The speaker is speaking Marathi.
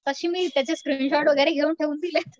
तशी मी त्याचे स्क्रिनशॉट वगैरे घेऊन